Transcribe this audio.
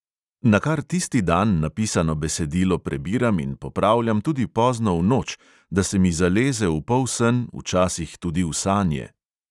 Nakar tisti dan napisano besedilo prebiram in popravljam tudi pozno v noč, da se mi zaleze v polsen, včasih tudi v sanje.